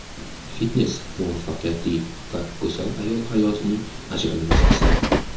Fitnes muvaffaqiyatli va go‘zal ayol hayotining ajralmas qismi.